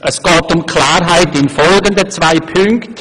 Es geht um Klarheit in folgenden zwei Punkten: